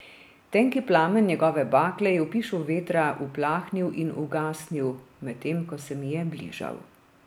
Tenki plamen njegove bakle je v pišu vetra uplahnil in ugasnil, medtem ko se mi je bližal.